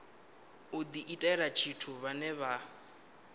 u diitela tshithu vhane vha